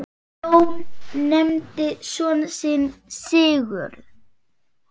Jón nefndi son sinn Sigurð.